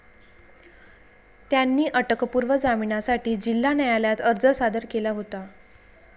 त्यांनी अटकपूर्व जामिनासाठी जिल्हा न्यायालयात अर्ज सादर केला होता.